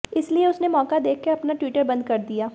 इसलिए उसने मौका देखकर अपना ट्विटर बंद कर दिया